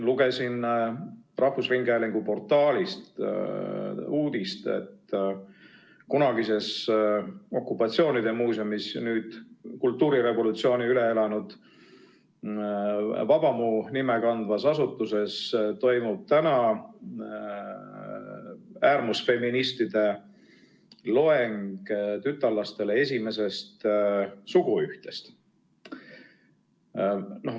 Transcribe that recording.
Lugesin rahvusringhäälingu portaalist uudist, et kunagises okupatsioonide muuseumis, nüüd kultuurirevolutsiooni üle elanud Vabamu nime kandvas asutuses toimub täna äärmusfeministide loeng tütarlastele esimesest suguühtest.